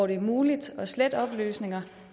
det muligt at slette oplysninger